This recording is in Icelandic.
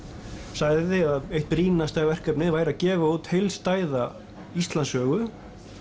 sagði að eitt brýnasta verkefnið væri að gefa út heildstæða Íslandssögu